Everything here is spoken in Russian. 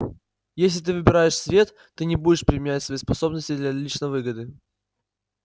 если ты выбираешь свет ты не будешь применять свои способности для личной выгоды